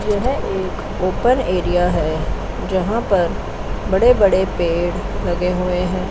यह एक open area हैं जहां पर बड़े बड़े पेड़ लगे हुए हैं।